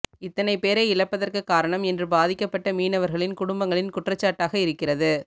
இத்தனை பேரை இழப்பதற்கு காரணம் என்று பாதிக்கப்பட்ட மீனவர்களின் குடும்பங்களின் குற்றச்சாட்டாக இருக்கிறது